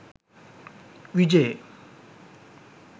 vijay